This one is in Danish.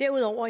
derudover